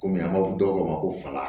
Kɔmi an b'a fɔ dɔw ko ma ko fagala